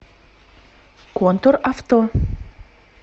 контур авто